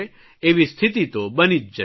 એવી સ્થિતિ તો બની જ જશે